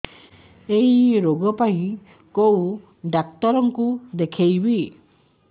ଏଇ ରୋଗ ପାଇଁ କଉ ଡ଼ାକ୍ତର ଙ୍କୁ ଦେଖେଇବି